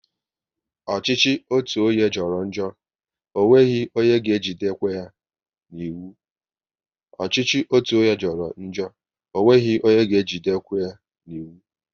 Ọchịchị otu onye jọrọ njọ, ọ nweghị onye ga ejidenkwụ ya n'iwu